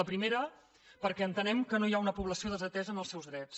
la primera perquè entenem que no hi ha una població desatesa en els seus drets